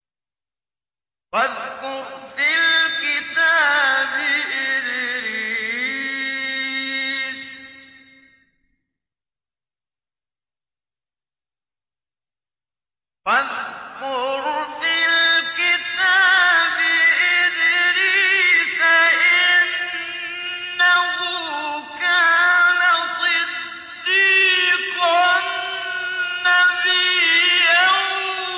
وَاذْكُرْ فِي الْكِتَابِ إِدْرِيسَ ۚ إِنَّهُ كَانَ صِدِّيقًا نَّبِيًّا